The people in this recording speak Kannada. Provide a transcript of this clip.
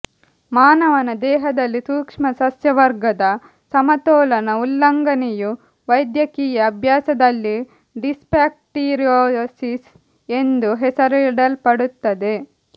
ಮಾನವನ ದೇಹದಲ್ಲಿ ಸೂಕ್ಷ್ಮಸಸ್ಯವರ್ಗದ ಸಮತೋಲನ ಉಲ್ಲಂಘನೆಯು ವೈದ್ಯಕೀಯ ಅಭ್ಯಾಸದಲ್ಲಿ ಡಿಸ್ಬ್ಯಾಕ್ಟೀರಿಯೊಸಿಸ್ ಎಂದು ಹೆಸರಿಸಲ್ಪಡುತ್ತದೆ